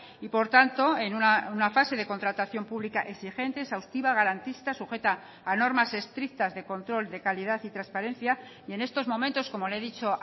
y por tanto en una fase de contratación pública exigente exhaustiva garantista sujeta a normas estrictas de control de calidad y transparencia y en estos momentos como le he dicho